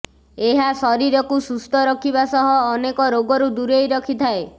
ଏହା ଶରୀରକୁ ସୁସ୍ଥ ରଖିବା ସହ ଅନେକ ରୋଗ ଠାରୁ ଦୂରେଇ ରଖିଥାଏ